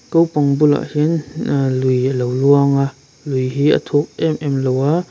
ko pang bulah hian ahh lui a lo luang a lui hi a thuk em em lo a--